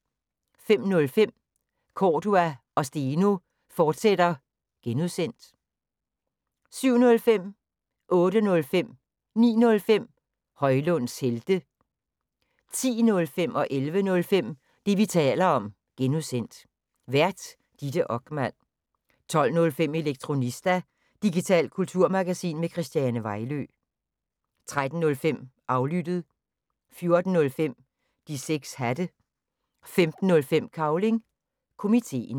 05:05: Cordua & Steno, fortsat (G) 07:05: Højlunds helte 08:05: Højlunds helte 09:05: Højlunds helte 10:05: Det, vi taler om (G) Vært: Ditte Okman 11:05: Det, vi taler om (G) Vært: Ditte Okman 12:05: Elektronista – digitalt kulturmagasin med Christiane Vejlø 13:05: Aflyttet 14:05: De 6 Hatte 15:05: Cavling Komiteen